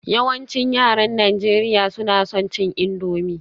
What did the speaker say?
Yawancin yaran Najeriya suna son cin indomie